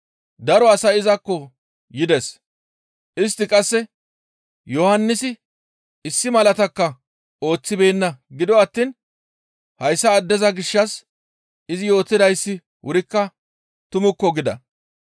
Daro asay izakko yides; istti qasse, «Yohannisi issi malaatakka ooththibeenna; gido attiin hayssa addeza gishshas izi yootidayssi wurikka tumukko» gida.